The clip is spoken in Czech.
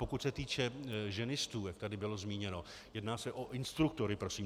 Pokud se týče ženistů, jak tady bylo zmíněno, jedná se o instruktory prosím.